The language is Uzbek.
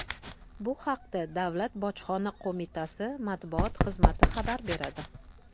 Bu haqda Davlat Bojxona qo‘mitasi matbuot xizmati xabar beradi .